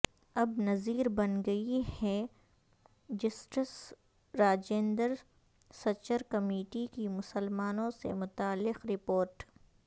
اب نظیر بن گئی ہے جسٹس راجندر سچر کمیٹی کی مسلمانوں سے متعلق رپورٹ